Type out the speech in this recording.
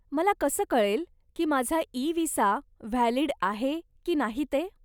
मला कसं कळेल की माझा इ विसा व्हॅलिड आहे की नाही ते ?